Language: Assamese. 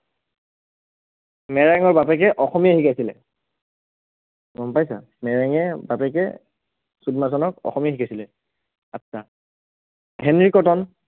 মেৰেঙৰ বাপেকে অসমীয়া শিকাইছিলে গম পাইছা মেৰেঙে বাপেকে ছুদমাৰ্চনক অসমীয়া শিকাইছিলে, আচ্ছা, হেনৰি কটন